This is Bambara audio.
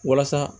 Walasa